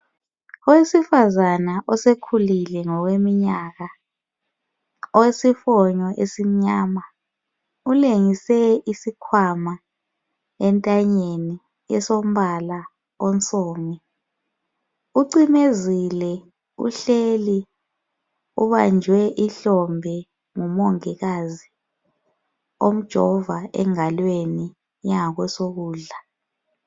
Owesifazana osekhulile ngokweminyaka owesifonyo esimnyama ulengise isikhwama entanyeni elombala onsomi ucimezile uhleli ubanjwe ihlombe ngumongikazi omjova engalweni engakwesokudla.